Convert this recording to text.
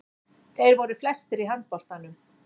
Þeir voru flestir í handboltanum.